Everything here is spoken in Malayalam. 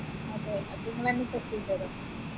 അതെ അത് നിങ്ങളന്നെ set ചെയ്തരോ